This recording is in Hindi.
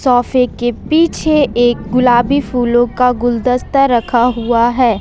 सोफे के पीछे एक गुलाबी फूलों का गुलदस्ता रखा हुआ है।